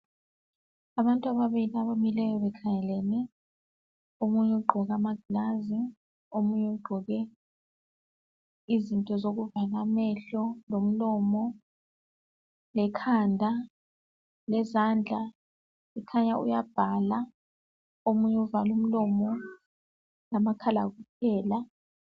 abantu ababili abamileyo bekhangelene omunye ugqoke amaglazi omunye izinto zokuvala amehlo lomlomo lekhanda le zandla kukhanya uyabhala omunye uvale umlomo lamakhala kuphela